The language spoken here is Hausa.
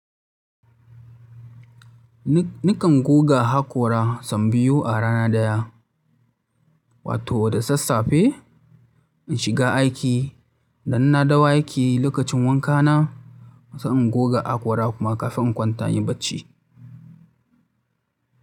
Ni nakan goga haƙora sau biyu a rana ɗaya. Wato da sassafe in shiga aiki, da inna dawo aiki lokacin wanka na, sai in goga haƙora kuma kafin in kwanta inyi bacci.